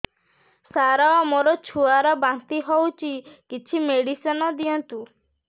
ସାର ମୋର ଛୁଆ ର ବାନ୍ତି ହଉଚି କିଛି ମେଡିସିନ ଦିଅନ୍ତୁ